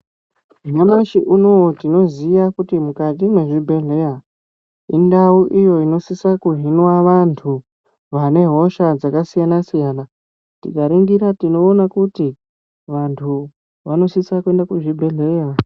Nyamashi unoo tinoziya kuti mukati mwezvibhehleya indau iyo inosisa kuhinwa vantu vane hosha dzakasiyanasiyana tikaringira tinoone kuti vantu vanosisa kuenda kuzvibhehleya.